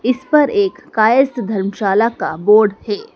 इस पर एक कायस्थ धर्मशाला का बोर्ड है।